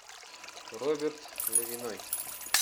роберт левиной